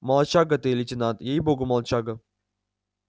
молодчага ты лейтенант ей богу молодчага